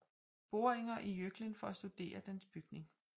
Boringer i Jøklen for at studere dens bygning